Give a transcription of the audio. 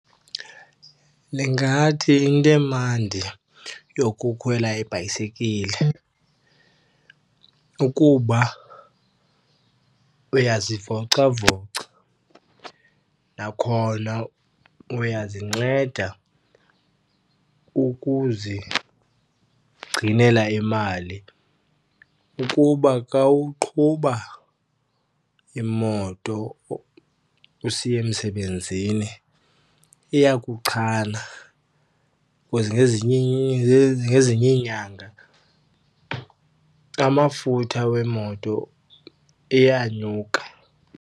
Ndingathi into emandi yokukhwela ibhayisikili kukuba uyazivocavoca, nakhona uyazinceda ukuzigcinela imali. Ukuba xa uqhuba imoto usiya emsebenzini iyakuchana because ngezinye ngezinye iinyanga, amafutha weemoto iyanyuka.